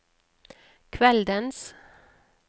kveldens